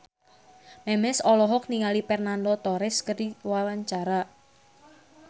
Memes olohok ningali Fernando Torres keur diwawancara